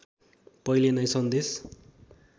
पहिले नै सन्देश